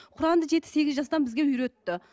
құранды жеті сегіз жастан бізге үйретті